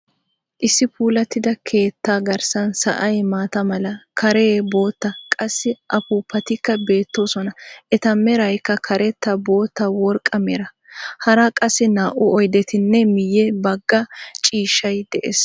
Issi puulatida keetta garssan sa"ay maata mala, kaaray bootta, qassi affuufatikka beettoosona eta meraykka, karetta, bootta, worqqa mera. hara qassi naa"u oydetinee miye bagga ciishshay dees.